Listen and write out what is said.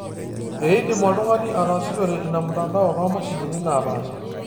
Eidim oltungani ataasishore ina mtandao too mashinini naapasha